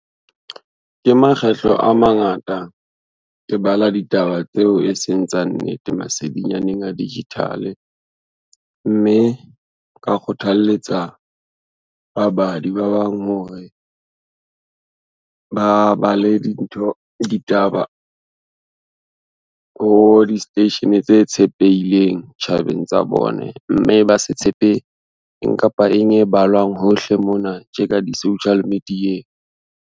Ke makgetlo a mangata, ke bala ditaba tseo e seng tsa nnete masedinyaneng a digital-e, mme nka kgothalletsa ba badi ba bang hore, ba bale dintho, ditaba ho di-station tse tshepeileng tjhabeng tsa bone, mme ba se tshepe eng kapa eng e balwang hohle mona tje ka di-social media-eng.